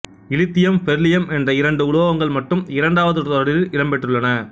இலித்தியம் பெரிலியம் என்ற இரண்டு உலோகங்கள் மட்டும் இரண்டாவது தொடரில் இடம்பெற்றுள்ளன